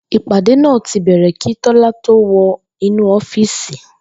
Ìpàdé náà ti bè̩rè̩ kí Tó̩lá tó wo̩ inú ó̩fíìsì